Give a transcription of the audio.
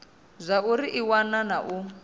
zwauri i wana na u